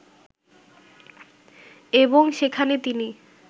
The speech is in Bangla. এবং সেখানে তিনি